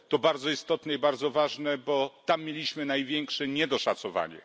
To bardzo istotne i bardzo ważne, bo tam mieliśmy największe niedoszacowanie.